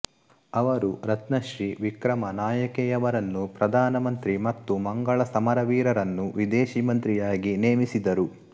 ಅವರು ರತ್ನಶ್ರೀ ವಿಕ್ರಮನಾಯಕೆಯವರನ್ನು ಪ್ರಧಾನ ಮಂತ್ರಿ ಮತ್ತು ಮಂಗಳ ಸಮರವೀರರನ್ನು ವಿದೇಶಿ ಮಂತ್ರಿಯಾಗಿ ನೇಮಿಸಿದರು